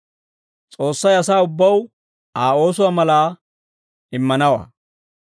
S'oossay asaa ubbaw Aa oosuwaa malaa immanawaa.